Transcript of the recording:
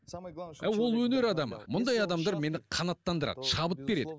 ол өнер адамы мұндай адамдар мені қанаттандырады шабыт береді